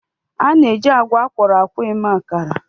A na-eji agwa akwọrọ akwọ eme akara.